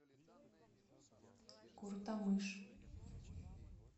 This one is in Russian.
куртамыш